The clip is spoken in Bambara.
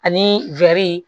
Ani